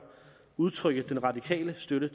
udtrykke den radikale støtte